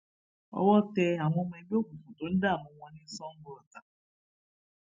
owó tẹ àwọn ọmọ ẹgbẹ òkùnkùn tó ń dààmú wọn ní sangoọta